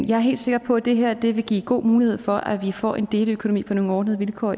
jeg er helt sikker på at det her vil give god mulighed for at vi får en deleøkonomi i danmark på nogle ordnede vilkår